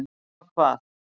nema hvað